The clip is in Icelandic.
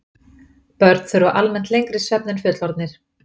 Börn þurfa almennt lengri svefn en fullorðnir.